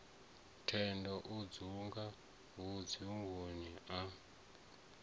thendo o hunga mbudzi yashavha